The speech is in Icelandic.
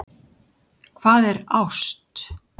Hvað er ást?